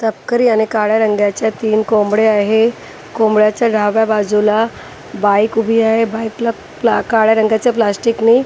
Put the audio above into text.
तपकरी आणि काळ्या रंगाच्या तीन कोंबड्या आहे कोंबड्याच्या डाव्या बाजूला बाईक उभी आहे बाईकला काळ्या रंगाच्या प्लास्टिकने --